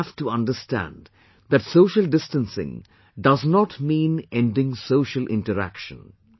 But we have to understand that social distancing does not mean ending social interaction